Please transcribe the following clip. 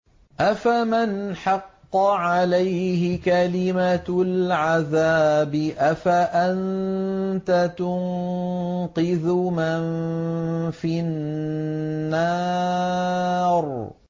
أَفَمَنْ حَقَّ عَلَيْهِ كَلِمَةُ الْعَذَابِ أَفَأَنتَ تُنقِذُ مَن فِي النَّارِ